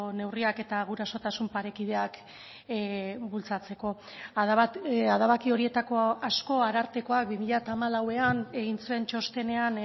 neurriak eta gurasotasun parekideak bultzatzeko adabaki horietako asko arartekoak bi mila hamalauan egin zuen txostenean